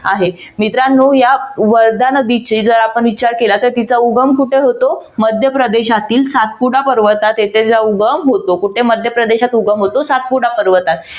आहे मित्रांनो या वर्धा नदीचे जर आपण विचार केला तर तिचा उगम कुठे होतो? मध्यप्रदेशातील सातपुडा पर्वतात तिचा उगम होतो. कुठे मध्यप्रदेशात उगम होतो सातपुडा पर्वतात.